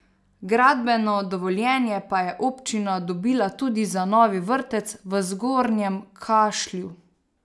Gradbeno dovoljenje pa je občina dobila tudi za novi vrtec v Zgornjem Kašlju.